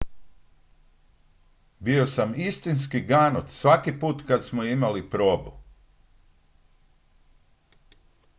"""bio sam istinski ganut svaki put kad smo imali probu.""